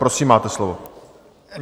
Prosím, máte slovo.